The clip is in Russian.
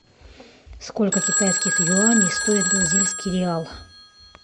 сколько китайских юаней стоит бразильский реал